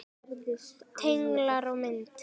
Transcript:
Tenglar og mynd